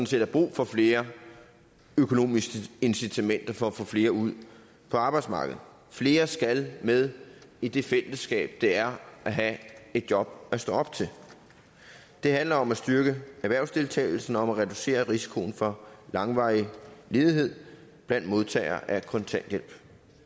set er brug for flere økonomiske incitamenter for at få flere ud på arbejdsmarkedet flere skal med i det fællesskab det er at have et job at stå op til det handler om at styrke erhvervsdeltagelsen om at reducere risikoen for langvarig ledighed blandt modtagere af kontanthjælp